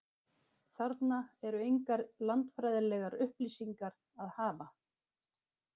Þarna er engar landfræðilegar upplýsingar að hafa.